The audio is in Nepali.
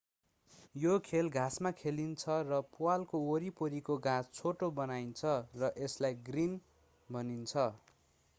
यो खेल घाँसमा खेलिन्छ र प्वालको वरिपरिको घाँस छोटो बनाइन्छ र यसलाई ग्रिन भनिन्छ